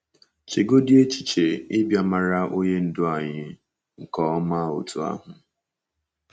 Chegodị echiche ịbịa mara Onye Ndú anyị nke ọma otú ahụ!